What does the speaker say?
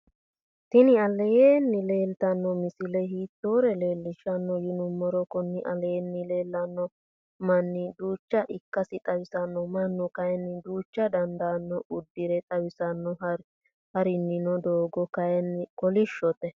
tini alenni leltano misile hitore leeshano yinumoro kuni aleni lelano mani duucha ikasi xawisano. manu kayini duuchu daniudano udira xawisano. haaranino dogo kayini kolishote.